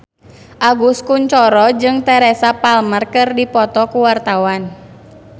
Agus Kuncoro jeung Teresa Palmer keur dipoto ku wartawan